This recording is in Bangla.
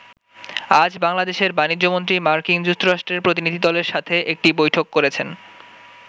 আজ বাংলাদেশের বাণিজ্যমন্ত্রী, মার্কিন যুক্তরাষ্ট্রের প্রতিনিধিদলের সাথে একটি বৈঠক করেছেন।